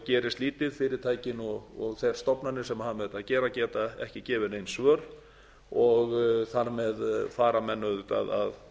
gerist lítið fyrirtækin og þær stofnanir sem hafa með þetta að gera geta ekki gefið nein svör og þar með fara menn auðvitað